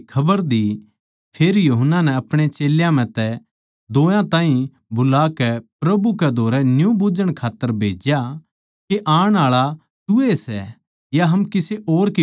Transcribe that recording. फेर यूहन्ना नै अपणे चेल्यां म्ह तै दोयां ताहीं बुलाकै प्रभु कै धोरै न्यू बुझ्झण खात्तर भेज्या के आण आळा तूए सै या हम किसे और की बाट देक्खां